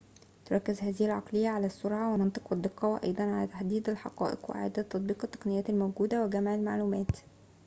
تركز هذه العقلية على السرعة والمنطق والدقة وأيضاً على تحديد الحقائق وإعادة تطبيق التقنيات الموجودة وجمع المعلومات